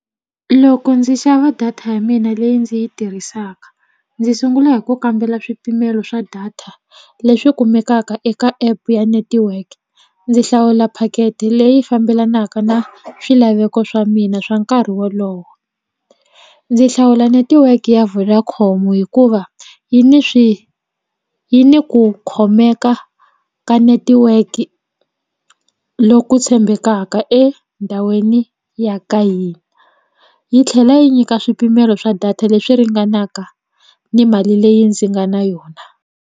Loko ndzi xava data ya mina leyi ndzi yi tirhisaka ndzi sungula hi ku kambela swipimelo swa data leswi kumekaka eka app ya network ndzi hlawula packet leyi fambelanaka na swilaveko swa mina swa nkarhi wolowo ndzi hlawula netiweke ya Vodacom hikuva yi ni swi yi ni ku khomeka ka netiweke loku tshembekaka endhawini ya ka hina yi tlhela yi nyika swipimelo swa data leswi ringanaka ni mali leyi ndzi nga na yona.